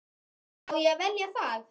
Á ég að velja það?